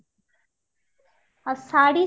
ଆଉ ଶାଢ଼ୀ?